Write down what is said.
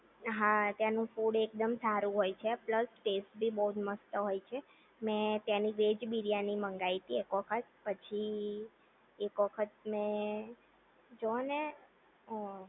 હા ત્યાંનું ફુટ એકદમ સારું હોય છે પ્લસ ટેસ્ટ બી બહુજ મસ્ત હોય છે મેં ત્યાંની વેજ બિરયાની મંગાવી હતી એક વખત પછી એક વખત મેં જોવો ને